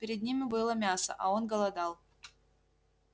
перед ним было мясо а он голодал